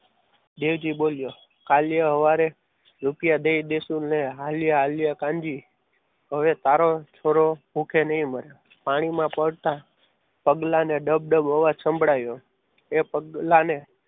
દેવજી બોલે લાલિયો સવારે દઈ દઈશું અને હાલ્યા હાલ્યા કાનજી હવે તારો છોરો ભૂખ્યો નહીં મરે. પાણીમાં પડતા પગલાનો અવાજ સંભળાયો એ પગલાને